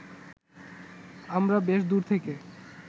আমরা বেশ দূর থেকে